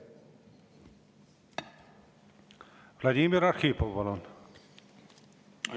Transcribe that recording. Vladimir Arhipov, palun!